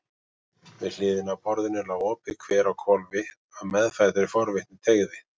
Við hliðina á borðinu lá opið kver á hvolfi, af meðfæddri forvitni teygði